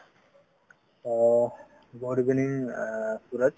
অ good evening আ সূৰজ